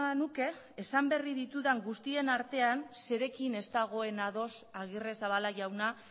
nuke esan berri ditudan guztien artean zerekin ez dagoen ados agirrezabala jauna